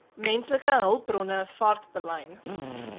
menslike hulpbronne vaartbelyn